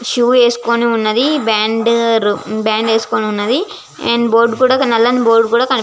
shoe వేసుకొని వున్నది band bond వేసుకొని వున్నది అండ్ బోర్డు నల్లని బోర్డు కూడా కని --